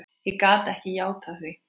Ég gat ekki játað því.